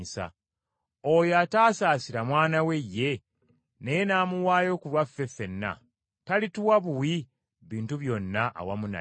Oyo ataasaasira Mwana we ye, naye n’amuwaayo ku lwaffe ffenna, talituwa buwi bintu byonna awamu naye?